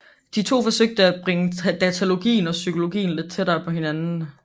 De to forsøgte at bringe datalogien og psykologien lidt tættere på hinanden